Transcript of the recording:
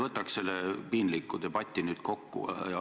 Võtaks selle piinliku debati nüüd kokku.